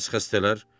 Bəs xəstələr?